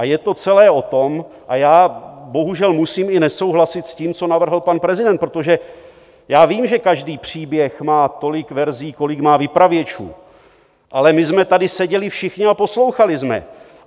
A je to celé o tom - a já bohužel musím i nesouhlasit s tím, co navrhl pan prezident, protože já vím, že každý příběh má tolik verzí, kolik má vypravěčů, ale my jsme tady seděli všichni a poslouchali jsme.